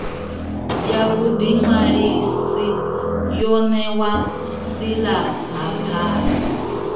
ya vhuḓiṅwalisi yo ṋewaho silahapani